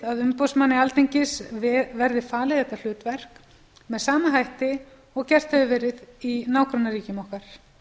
að umboðsmanni alþingis verði falið þetta hlutverk með sama hætti og gert hefur verið í nágrannaríkjum okkar